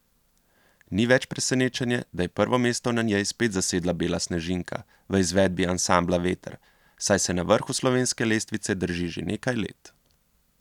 Ni več presenečenje, da je prvo mesto na njej spet zasedla Bela snežinka v izvedbi ansambla Veter, saj se na vrhu slovenske lestvice drži že nekaj let.